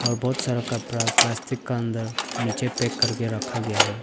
बहुत सारा कपड़ा प्लास्टिक का अंदर नीचे पैक करके रखा गया है।